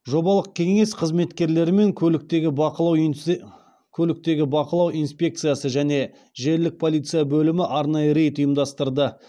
жобалық кеңсе қызметкерлері мен көліктегі бақылау инспекциясы және желілік полиция бөлімі арнайы рейд ұйымдастырды